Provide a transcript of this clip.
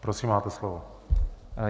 Prosím, máte slovo.